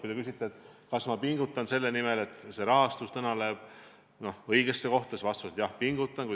Kui te küsite, kas ma pingutan selle nimel, et see raha läheks täna õigesse kohta, siis vastus on, et jah, pingutan.